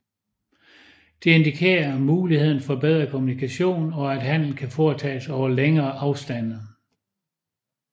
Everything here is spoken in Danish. Det indikerer muligheder for bedre kommunikation og at handel kan foretages over længere afstande